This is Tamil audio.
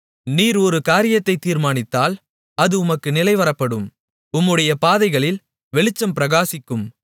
நீர் ஒரு காரியத்தை தீர்மானித்தால் அது உமக்கு நிலைவரப்படும் உம்முடைய பாதைகளில் வெளிச்சம் பிரகாசிக்கும்